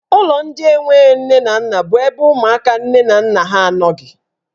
Ụlọ ndị enwe nne na nna bụ ebe ụmụaka nne na nna ha anọghị.